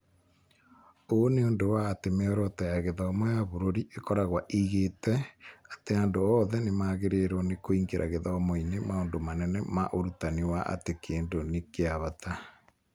Ũũ nĩ ũndũ wa atĩ mĩoroto ya gĩthomo ya bũrũri ĩkoragwo ĩigĩte atĩ andũ othe nĩ magĩrĩirwo nĩ kũingĩra gĩthomo-inĩ maũndũ manene ma ũrutani wa atĩ kĩndũ nĩ kĩa bata..